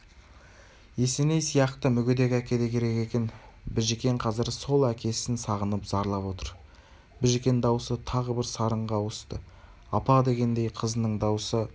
есеней сияқты мүгедек әке де керек екен біжікен қазір сол әкесін сағынып зарлап отыр біжікен даусы тағы бір сарынға ауыстыапа дегендей қызының даусы апа